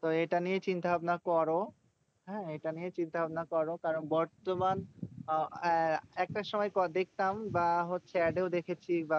তো এটা নিয়েই চিন্তাভাবনা করো। হ্যাঁ? এটা নিয়ে চিন্তাভাবনা করো। কারণ বর্তমান একটা সময় দেখতাম বা হচ্ছে add এও দেখেছি বা